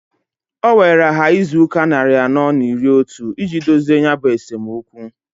O weere ha izuụka nnarị anọọ n'iri n'otu iji dozie ya bụ esomokwu.